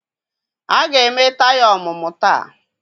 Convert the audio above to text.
a ga-eme taya ọmụmụ taa